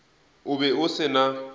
o be o se na